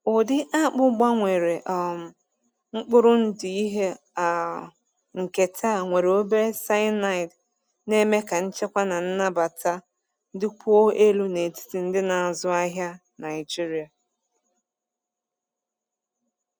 Ụdị akpụ gbanwere um mkpụrụ ndụ ihe um nketa nwere obere cyanide na-eme ka nchekwa na nnabata dịkwuo elu n’etiti ndị na-azụ ahịa Naijiria.